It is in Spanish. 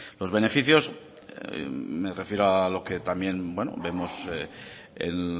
los beneficios me refiero a lo que también vemos en